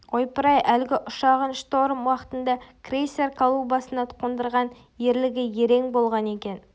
ойпыр-ай әлгі ұшағын шторм уақытында крейсер палубасына қондырған ерлігі ерен болған екен